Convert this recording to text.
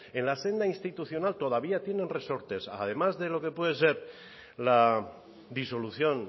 en la senda institucional todavía tienen resortes además de lo que puede ser la disolución